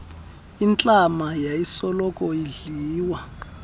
intlama yayisoloko idliwa